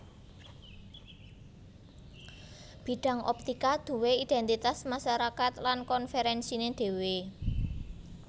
Bidang optika duwé identitas masarakat lan konferensiné dhéwé